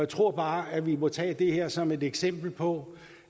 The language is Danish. tror bare at vi må tage det her som et eksempel på